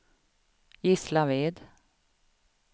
Gislaved